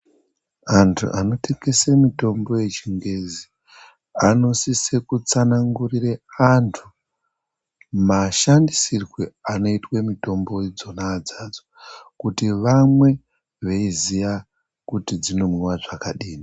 Antu anotengese mitombo yechingezi, anosise kutsanangurira antu mashandisirwe anoyitwe mitombodzona idzodzo, kuti vamwe veyiziya kuti dzinomwiwa zvakadini.